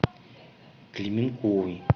клименковой